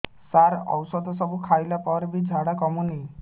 ସାର ଔଷଧ ସବୁ ଖାଇଲା ପରେ ବି ଝାଡା କମୁନି